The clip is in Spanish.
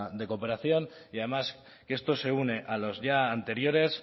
de cooperación y además que esto se une a los ya anteriores